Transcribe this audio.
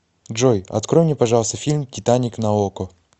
джой открой мне пожалуйста фильм титаник на око